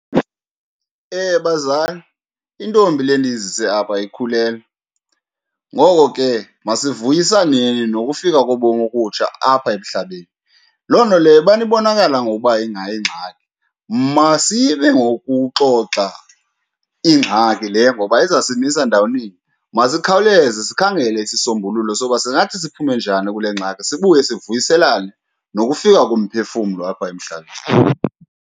Bazali, intombi le ndiyizise apha ikhulelwe, ngoko ke masivuyisaneni nokufika kobomi obutsha apha emhlabeni. Loo nto leyo ubana ibonakala ngokuba ingayingxaki, masime ngokuxoxa ingxaki le, ngoba izasimisa ndaweninye. Masikhawuleze sikhangele isisombululo soba singathi siphume njani kule ngxaki, sibuye sivuyiselane nokufika komphefumlo apha emhlabeni.